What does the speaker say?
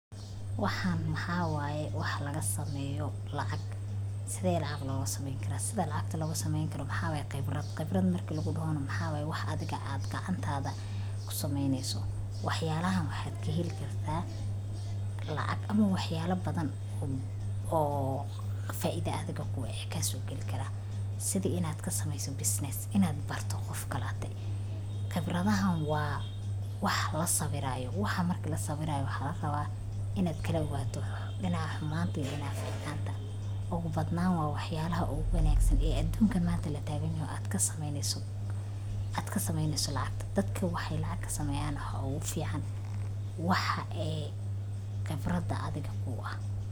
Waxaan mahawayay wax laga sameeyo lacag. Sidaa lacag laguga sameyn karo sida lacagta lagu sameyn karo. Maxaa qaybraad qaybraad markii lagu doho maxaa wax adaga aad gacantaada ku sameynayso. Waxyaalaha waxaad ka heli kartaa lacag ama waxyaalo badan oo faa'iido adiga kugu eekaya suugilaan kara. Sidii inaad ka samayso business inaad barto qofka la'tee. qaybradahan waa wax la sawiraayo. Waxaa markaa la sawiraayo waxa laraba inaad kaloo waato in ahammaantii in afa-faan doonin. Ugu badnaan waa waxyaalaha ugu baneeksan ee adduunka maanta la taaganayo adka sameynayso adka sameynayso lacag. Dadku waxay lacag ka sameeyaan hoo u fiican waxa ee qaybraad adiga ku ah.